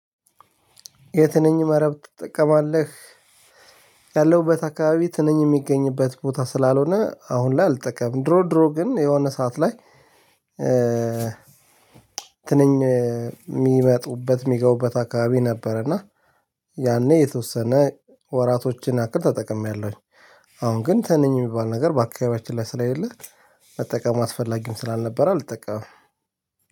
የትንኝ መረብ ትጠቀማለህ? ያለሁበት አካባቢ ትንኝ የሚገኝበት ቦታ ስላልሆነ አሁን ላይ አልጠቀምም። ድሮ ድሮ ግን የሆነ ሰዓት ላይ እ ትንኝ የ ሚመጡበት ሚገቡበት አካባቢ ነበር። እና ያኔ የተወሰነ ወራቶችን ያክል ተጠቅሜያለሁ። አሁን ግን ተንኝ የሚባል ነገር በአካባቢያችን ላይ ስለሌለ መጠቀም አስፈላጊም ስላልነበረ አልጠቃም።